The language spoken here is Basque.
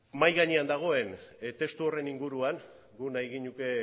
mahai gainean dagoen testu horren inguruan guk nahi genuke